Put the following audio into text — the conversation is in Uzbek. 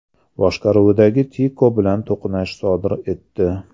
boshqaruvidagi Tico bilan to‘qnashuv sodir etdi.